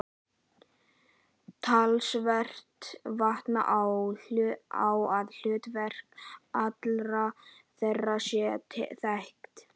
Talsvert vantar á að hlutverk allra þeirra sé þekkt.